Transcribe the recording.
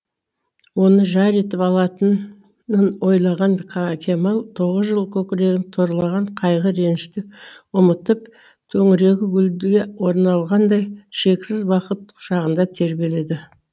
оны жар етіп алатынын ойлаған кемал тоғыз жыл көкірегін торлаған қайғы ренішті ұмытып төңірегі гүлділі орналғандай шексіз бақыт құшағында тербеледі